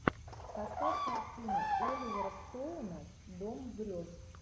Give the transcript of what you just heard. поставь картину оливера стоуна дом грез